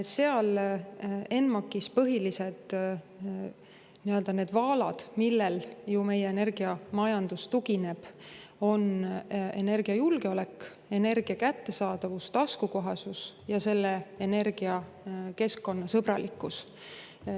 Seal ENMAK-is põhilised nii-öelda vaalad, millele meie energiamajandus tugineb, on energiajulgeolek, energia kättesaadavus, taskukohasus ja selle energia keskkonnasõbralikkus.